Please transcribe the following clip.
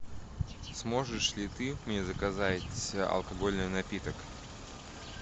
сможешь ли ты мне заказать алкогольный напиток